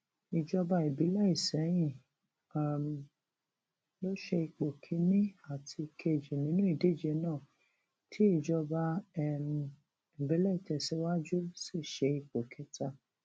ìjọba ìbílẹ isẹyìn um ló ṣe ipò kìnínní àti ìkejì nínú ìdíje náà tí ìjọba um ìbílẹ ìtẹsíwájú sì ṣe ipò kẹta